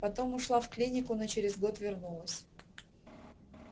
потом ушла в клинику но через год вернулась